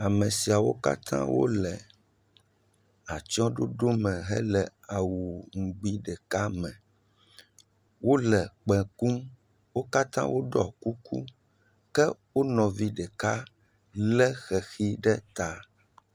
Ame siawo kata wole atsye ɖoɖo me hele awu ŋugbi ɖeka me. Wole kpẽ kukum. Wo kata wo ɖɔ kuku, ke wonɔ vi ɖeka le xexi ɖe ta.